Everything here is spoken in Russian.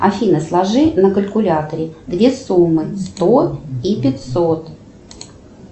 афина сложи на калькуляторе две суммы сто и пятьсот